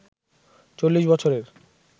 ৪০ বছরের